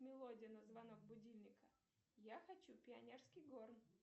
мелодия на звонок будильника я хочу пионерский горн